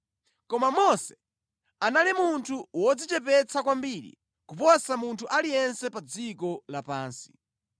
(Koma Mose anali munthu wodzichepetsa kwambiri kuposa munthu aliyense pa dziko lapansi).